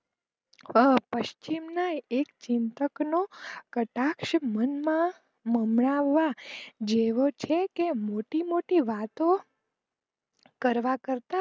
પચ્છિમ ના એક ચિંતક નો કટાક્ષ મનમાં મમરા જેવો જ છે મોટી મોટી વાતો કરવા કરતા